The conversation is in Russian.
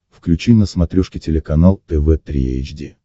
включи на смотрешке телеканал тв три эйч ди